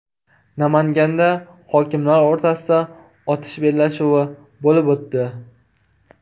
Namanganda hokimlar o‘rtasida otish bellashuvi bo‘lib o‘tdi.